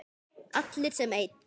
Allir sem einn.